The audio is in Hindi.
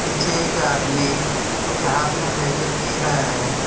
पीछे एक आदमी कुछ हाथ में ले के पी रहा है।